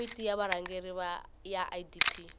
komiti ya vurhangeri ya idp